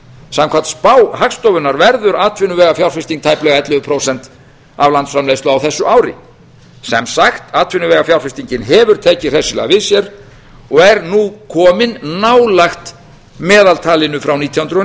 samkvæmt spá hagstofunnar verður atvinnuvegafjárfesting tæplega ellefu prósent af landsframleiðslu á þessu ári sem sagt atvinnuvegafjárfestingin hefur tekið hressilega við sér og er nú komin nálægt meðaltalinu frá nítján hundruð